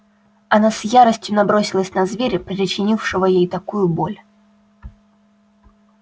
она с яростью набросилась на зверя причинившего ей такую боль